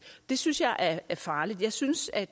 det synes jeg er er farligt jeg synes at